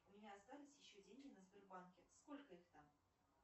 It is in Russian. у меня остались еще деньги на сбербанке сколько их там